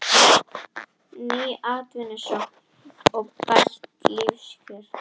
Ný atvinnusókn og bætt lífskjör